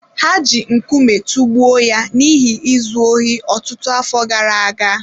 Ha ji nkume tụgbuo ya n’ihi izu ohi ọtụtụ afọ gara aga.